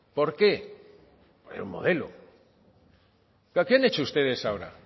por qué era un modelo qué han hecho ustedes ahora